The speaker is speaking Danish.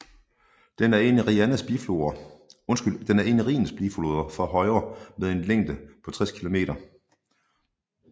Den er en af Rhinens bifloder fra højre med en længde på 60 km